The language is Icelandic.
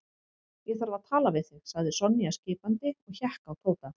Ég þarf að tala við þig sagði Sonja skipandi og hékk á Tóta.